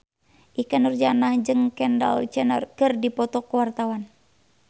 Ikke Nurjanah jeung Kendall Jenner keur dipoto ku wartawan